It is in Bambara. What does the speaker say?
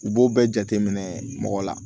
U b'o bɛɛ jate minɛ mɔgɔ la